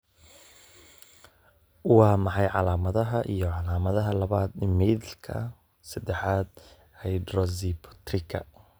Waa maxay calaamadaha iyo calaamadaha labad methylka sedexad hydroxybutyriga